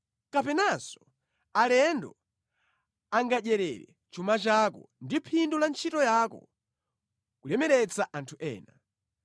kapenanso alendo angadyerere chuma chako ndi phindu la ntchito yako kulemeretsa anthu ena.